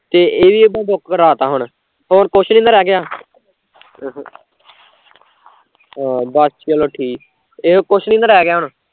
ਤੇ ਏਹ ਵੀ ਹੁਣ book ਕਰਾਤਾ, ਹੋਰ ਨੀ ਨਾ ਰਹਿ ਗਿਆ ਕੁਛ ਹਾਂ ਬਸ ਚਲੋ ਠੀਕ ਆ, ਹੋਰ ਨੀ ਨਾ ਰਹਿ ਗਿਆ ਕੁਛ